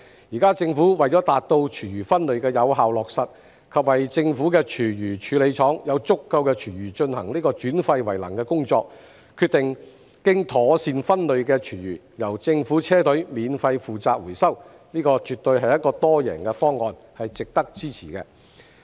現時政府為了達到廚餘分類的有效落實，以及為政府的廚餘處理廠有足夠的廚餘進行轉廢為能的工作，決定經妥善分類的廚餘由政府車隊免費負責回收，這絕對是一個多贏的方案，是值得支持的。